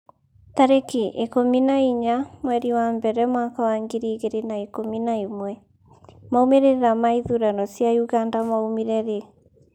tarĩki ikũmi na inya mweri wa mbere mwaka wa ngiri igĩrĩ na ikũmi na ĩmwemaumĩrĩra ma ithurano cia Uganda maumire rĩ?